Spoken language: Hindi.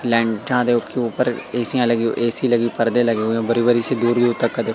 के ऊपर एसीयां लगी ए_सी लगी पर्दे लगे हुए हैं बड़ी बड़ी सी दूरी